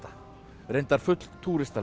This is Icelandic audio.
reyndar full